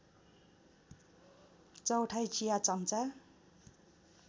चौथाइ चिया चम्चा